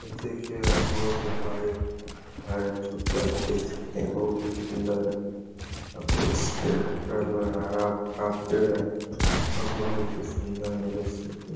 ये देखिये यहाँ बहुत ही बाइक है जो की आप देख सकते हैं बहुत ही सुंदर है और इसके बगल में हरा-भरा पेड़ है और बहुत ही सुंदर है जैसे कि --